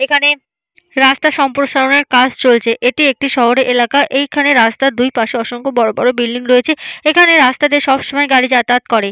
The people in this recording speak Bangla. এখানে রাস্তা সম্প্রসারণের কাজ চলছে। এটি একটি শহরে এলাকার এইখানে রাস্তার দুই পাশে অসংখ্য বড় বড় বিল্ডিং রয়েছে । এখানে রাস্তা দিয়ে সব সময় গাড়ি যাতায়াত করে--